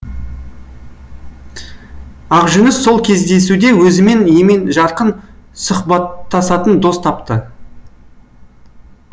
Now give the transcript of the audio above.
ақжүніс сол кездесуде өзімен емен жарқын сұхбаттасатын дос тапты